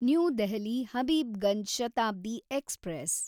new Delhi Habibganj Shatabdi express